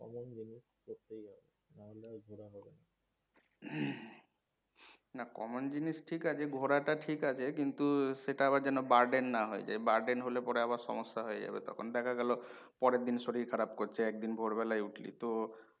না common জিনিস ঠিক আছে, ঘোরাটা ঠিক আছে কিন্তু সেটা আবার যেন burden না হয়ে যায় । Burden হলে পরে আবার সমস্যা হয়ে যাবে তখন। দেখা গেল পরের দিন শরীর খারাপ করছে একদিন ভোরবেলায় উঠলি তো,